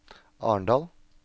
Arendal